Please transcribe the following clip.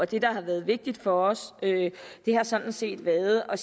det der har været vigtigt for os har sådan set været at